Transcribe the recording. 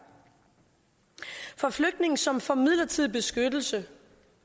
for flygtninge som får midlertidig beskyttelse